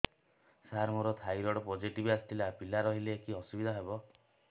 ସାର ମୋର thyroid positive ଆସିଥିଲା ପିଲା ରହିଲେ କି ଅସୁବିଧା ହେବ